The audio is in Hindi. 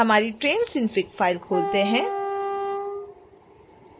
हमारी train synfig फाइल खोलते हैं